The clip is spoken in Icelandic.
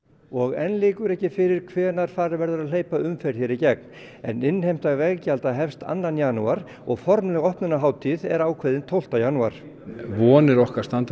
og enn liggur ekki fyrir hvenær farið verður að hleypa umferð hér í gegn en innheimta veggjalda hefst annar janúar og formleg opnunarhátíð er ákveðin tólfti janúar vonir okkar standa